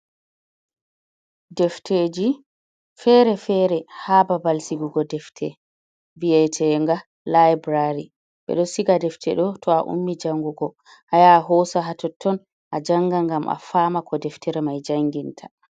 Defteji fere-fere ha babal sigugo defte vi’etenga laibrary bedo siga defte do to a ummi jangugo aya hoso ha totton a janga gam a fama ko deftere mai janginta.